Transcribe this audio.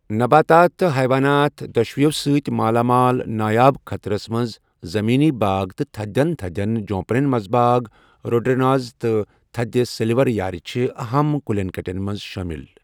نباتات تہٕ حَیوانات دوشوٕیو سۭتۍ مالا مال، نایاب، خطرس منز زٔمیٖنی باغ تہٕ تھدٮ۪ن تھدٮ۪ن جوُنیپرن منٛزباگ روڈٮ۪نڈرٛانز تہٕ تھٔدِ سلور یارِ چھِ اہم کُلٮ۪ن کٹٮ۪ن منٛز شٲمِل۔